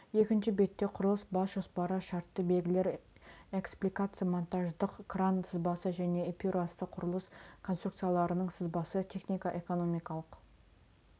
екінші бетте құрылыс бас жоспары шартты белгілер экспликация монтаждық кран сызбасы мен эпюрасы құрылыс конструкцияларының сызбасы технико экономикалық